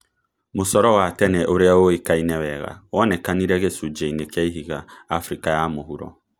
Mũcoro wa tene ũrĩa ũĩkaine wega, wonekanire gĩcunjĩ-inĩ kĩa ihiga Afrika ya mũhuro